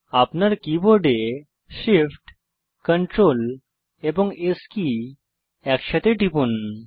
আপনার keyboard Shift Ctrl এবং S key একসাথে টিপুন